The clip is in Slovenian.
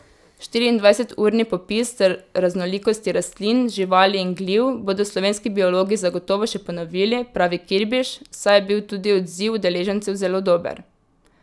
Štiriindvajseturni popis raznolikosti rastlin, živali in gliv bodo slovenski biologi zagotovo še ponovili, pravi Kirbiš, saj je bil tudi odziv udeležencev zelo dober.